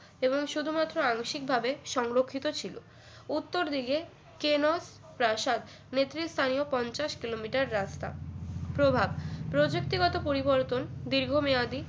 এবং শুধুমাত্র আংশিক ভাবে সংরক্ষিত ছিল উত্তর দিকে কেনর প্রাসাদ নেতৃস্থানীয় পঞ্চাশ কিলোমিটার রাস্তা প্রভাব প্রযুক্তিগত পরিবর্তন দীর্ঘমেয়াদি